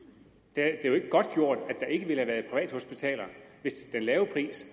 det er jo ikke godtgjort at der ikke ville have været privathospitaler hvis den lave pris